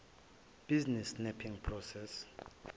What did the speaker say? business mapping process